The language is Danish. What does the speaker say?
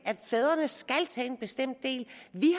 at fædrene skal tage en bestemt del vi